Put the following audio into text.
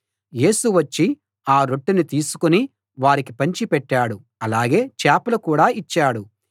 యేసు వచ్చి ఆ రొట్టెను తీసుకుని వారికి పంచి పెట్టాడు అలాగే చేపలు కూడా ఇచ్చాడు